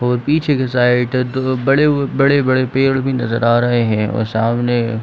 और पीछे के साइड बड़े अ बड़े - बड़े पेड़ भी नजर आ रहे है और सामने --